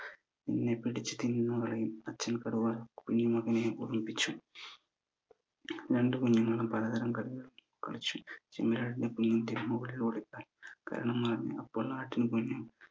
നിന്നെ പിടിച് തിന്ന് കളയും അച്ഛൻ കടുവ കുഞ്ഞി മകനെ ഓർമിപ്പിച്ചു രണ്ട് കുഞ്ഞുങ്ങളും പല തര കളികൾ കളിച്ചു ചെമ്മരിയാടിന്റെ കുഞ്ഞു കരണം മറിഞ്ഞും